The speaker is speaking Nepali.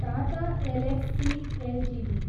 Tata Elxsi Ltd